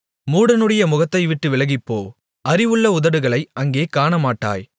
மூடனுடைய முகத்தைவிட்டு விலகிப்போ அறிவுள்ள உதடுகளை அங்கே காணமாட்டாய்